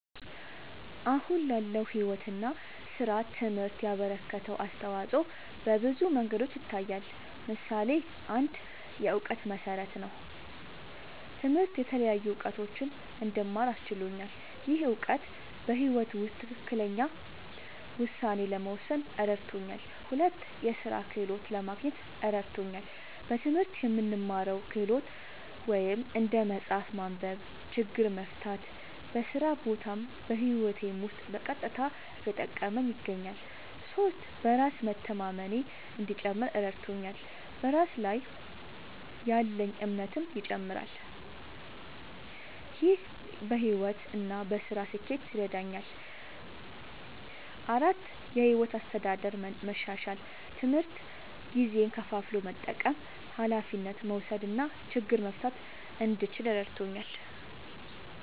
አሁን ላለው ሕይወት እና ሥራ ትምህርት ያበረከተው አስተዋጾ በብዙ መንገዶች ይታያል። ምሳሌ ፩, የእውቀት መሠረት ነዉ። ትምህርት የተለያዩ እዉቀቶችን እንድማር አስችሎኛል። ይህ እውቀት በሕይወት ውስጥ ትክክለኛ ውሳኔ ለመወሰን እረድቶኛል። ፪, የሥራ ክህሎት ለማግኘት እረድቶኛል። በትምህርት የምንማረው ክህሎት (እንደ መጻፍ፣ ማንበብ፣ ችግር መፍታ) በስራ ቦታም በህይወቴም ዉስጥ በቀጥታ እየጠቀመኝ ይገኛል። ፫. በራስ መተማመኔ እንዲጨምር እረድቶኛል። በራስ ላይ ያለኝ እምነትም ይጨምራል። ይህ በሕይወት እና በሥራ ስኬት ይረዳኛል። ፬,. የሕይወት አስተዳደር መሻሻል፦ ትምህርት ጊዜን ከፋፍሎ መጠቀም፣ ኃላፊነት መውሰድ እና ችግር መፍታት እንድችል እረድቶኛል።